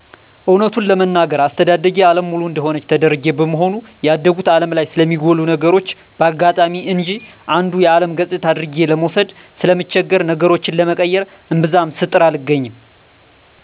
እወነት ለመናገር አስተዳደጌ አለም ሙሉ እደሆነች ተደርጌ በመሆኑ ያደጉት አለም ላይ ስለሚጎሉ ነገሮች በአጋጣሚ እንጅ አንዱ የአለም ገጽታ አድርጌ ለመውሰድ ስለምቸገር ነገሮችን ለመቀየር እምብዛም ስጥር አልገኝም።